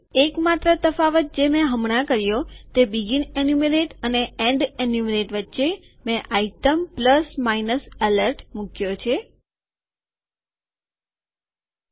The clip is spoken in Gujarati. એક માત્ર તફાવત જે મેં હમણાં કર્યો તે શરૂઆતની ગણતરી બીગીન ઈન્યુમરેટ અને છેવટની ગણતરી એન્ડ ઈન્યુમરેટ વચ્ચે મેં આઈટમ પ્લસ માઈનસ એલર્ટ વસ્તુ વત્તા ઓછા ચેતવણી મુક્યો છે